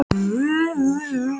Dómhildur, læstu útidyrunum.